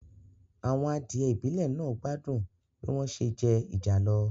Àwọn adìẹ ìbílẹ̀ náà gbádùn bí wọ́n se jẹ ìjàlọ